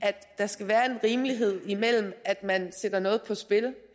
at der skal være rimelighed imellem det at man sætter noget på spil